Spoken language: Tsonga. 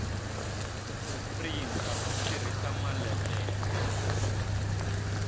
ku printa u tirhisa maletere